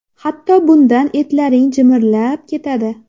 Hatto bundan etlaring jimirlab ketadi.